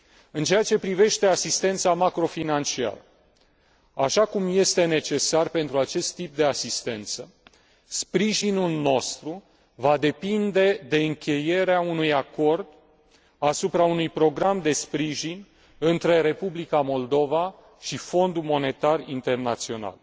În ceea ce privește asistența macrofinanciară, așa cum este necesar pentru acest tip de asistență, sprijinul nostru va depinde de încheierea unui acord asupra unui program de sprijin între Republica Moldova și Fondul Monetar Internațional.